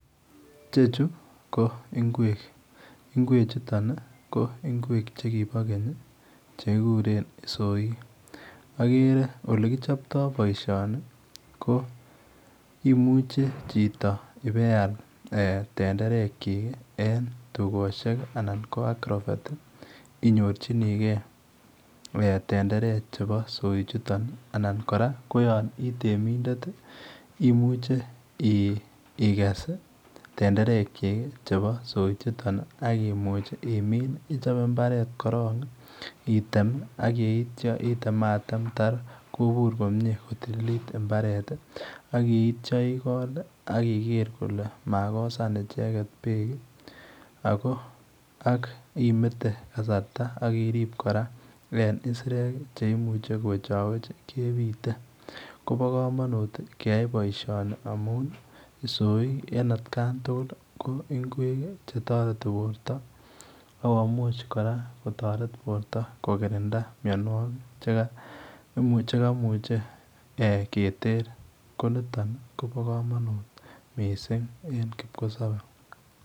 Ichechuu ko ngweek, ngweek chutoon ko ngweek che kiboo keeeny ii chekikuren soik ,agere ole kichaptoi boisioni ko imuuchei chitoo ibeyaal tenderek kyiik ii en dukosiek anan ko agrovet ii inyorjinikei tenderek chebo soik chutoon anan kora ko yaan ii temindet ii imuche igess tenderet kyik chebo soik chutoon ii ,ichape mbaret korong item ii ak yeityaa itemamatem taar kobuur komyei kotililit mbaret ak yeityaa igool ii ak igere kole makosaan ichegeet beek ii ako ako ak imete kasarta ak iriib kora en isireek ii che imuchei kowechaweech kebite kobaa kamanuut keyai boisioni amuun ii isoik en at kaan tugul komuchei kotaret bortoo akomuuch kora kotaret borto kokirindaa mianwagik chekimuchei keter ko nitoon koba kamanut missing en kipkosabe.